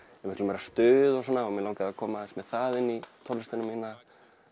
er miklu meira stuð og svona og mig langaði að koma aðeins meira með það inn í tónlistina mína